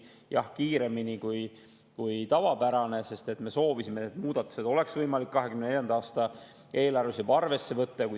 Jah, kiiremini, kui on tavapärane, sest me soovisime, et neid muudatusi oleks võimalik 2024. aasta eelarves juba arvesse võtta.